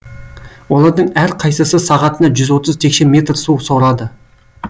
олардың әрқайсысы сағатына жүз отыз текше метр су сорады